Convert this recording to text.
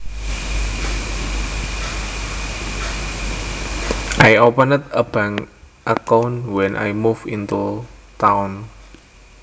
I opened a bank account when I moved into town